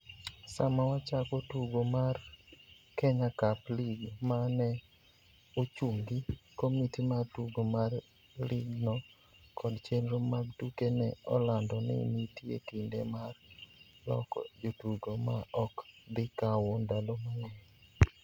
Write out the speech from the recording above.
Sama wachako tugo mar Kenya Cup League ma ne ochungi, komiti mar tugo mar ligno kod chenro mag tuke ne olando ni nitie kinde mar loko jotugo ma ok dhi kawo ndalo mang'eny.